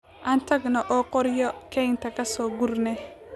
Aan tagno oo qoryo kaynta kasoo gurnee.